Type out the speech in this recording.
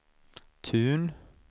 Tun